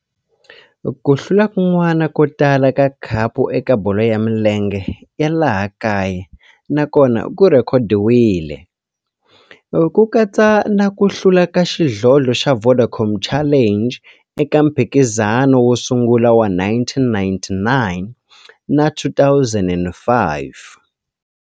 Ku hlula kun'wana ko tala ka khapu eka bolo ya milenge ya laha kaya na kona ku rhekhodiwile, ku katsa na ku hlula ka xidlodlo xa Vodacom Challenge eka mphikizano wo sungula wa 1999 na 2005.